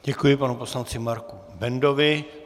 Děkuji panu poslanci Marku Bendovi.